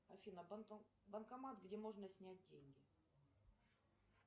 афина банкомат где можно снять деньги